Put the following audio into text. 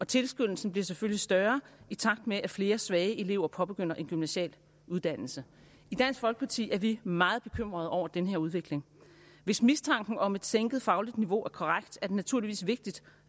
tilskyndelsen bliver selvfølgelig større i takt med at flere svage elever påbegynder en gymnasial uddannelse i dansk folkeparti er vi meget bekymrede over den her udvikling hvis mistanken om et sænket fagligt niveau er korrekt er det naturligvis vigtigt